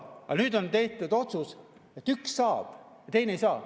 Aga nüüd on tehtud otsus, et üks saab ja teine ei saa.